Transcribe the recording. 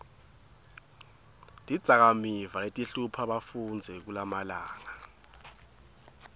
tidzakamiva letihlupha bafundzi kulamalanga